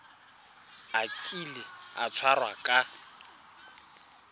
a kile a tshwarwa ka